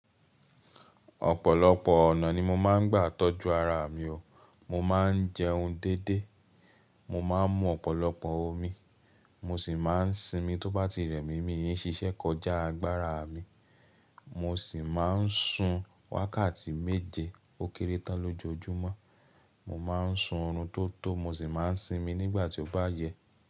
Ọ̀pọ̀lọpọ̀ ọ̀nà ni mo máa ń gbà tọ́jú ara mi o, mo máa ń jẹun dédé, mo máa ń mu ọ̀pọ̀lọpọ̀ omi, mo sì máa ń sinmi tó bá ti rẹ̀ mí mí i ṣiṣẹ́ kọjá agbára mi, mo sì máa ń sun wákàtí méje ó kéré tán lójoojúmọ́, mo máa ń sun oorun tó tó mo sì máa ń sinmi nígbà tí ó bá yẹ.